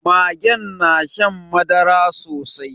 Magen na shan madara sosai